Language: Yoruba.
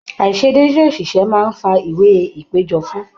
Aiṣedede oṣiṣẹ máa n fà ìwé ìpéjọ fún.